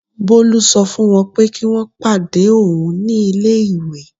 Bolu sọ fún wọ́n pé kí wọ́n pàdé òun ní ilé-ìwé.